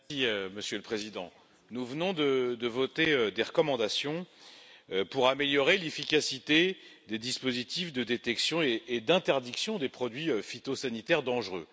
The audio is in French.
Monsieur le Président, nous venons de voter des recommandations pour améliorer l'efficacité des dispositifs de détection et d'interdiction des produits phytosanitaires dangereux.